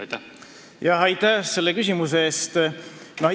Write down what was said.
Aitäh selle küsimuse eest!